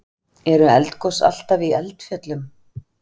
Eru eldgos alltaf í eldfjöllum?